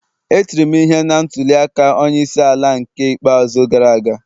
E tiri m ihe na ntuli aka onye isi ala n'ke ikpeazụ gara aga